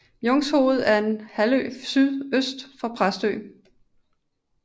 Jungshoved er en halvø sydøst for Præstø